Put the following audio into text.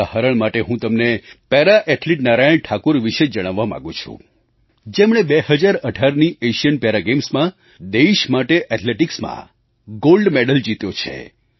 ઉદાહરણ માટે હું તમને પેરા ઍથ્લીટ નારાયણ ઠાકુર વિશે જણાવવા માગું છું જેમણે 2018ની એશિયન પેરા ગૅમ્સમાં દેશ માટે એથ્લેટિક્સમાં ગૉલ્ડ મેડલ જીત્યો છે